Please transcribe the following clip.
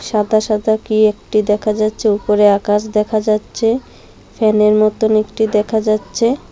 সাদা সাদা কি একটি দেখা যাচ্ছে উপরে আকাশ দেখা যাচ্ছে ফ্যানের মতোন একটি দেখা যাচ্ছে।